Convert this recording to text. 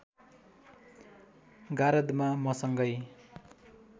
गारदमा मसँगै